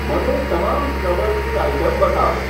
મને તમામ સ્ક્રબર્સની આઇટમ બતાવો.